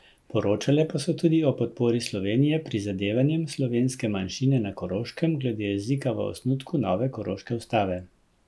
Pri vožnji nazaj sem imel kratek klepet, potem ko me je poklical prijatelj Roman.